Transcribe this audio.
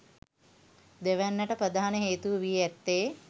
දෙවැන්නට ප්‍රධාන හේතුව වී ඇත්තේ